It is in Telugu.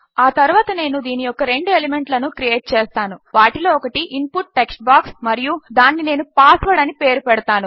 ఆ తరువాత నేను దీని యొక్క రెండు ఎలిమెంట్ లను క్రియేట్ చేస్తాను వాటిలో ఒకటి ఇన్పుట్ టెక్స్ట్ బాక్స్ మరియు దానిని నేను పాస్ వర్డ్ అని పేరు పెడతాను